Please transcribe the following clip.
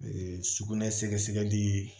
Ee sugunɛ sɛgɛsɛgɛli